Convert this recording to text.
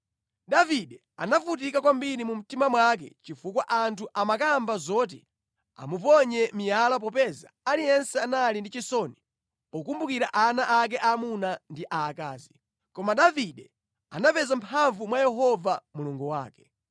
Davide anavutika kwambiri mu mtima mwake chifukwa anthu amakamba zoti amuponye miyala popeza aliyense anali ndi chisoni pokumbukira ana ake aamuna ndi aakazi. Koma Davide anapeza mphamvu mwa Yehova Mulungu wake.